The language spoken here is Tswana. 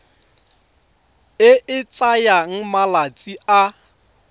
e e tsayang malatsi a